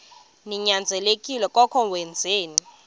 ninyanzelekile koko wenzeni